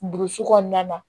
Burusi kɔnɔna na